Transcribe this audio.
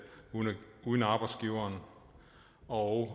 uden arbejdsgiveren og